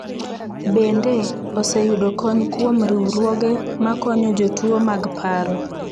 Bende, oseyudo kony kuom riwruoge ma konyo jotuwo mag paro.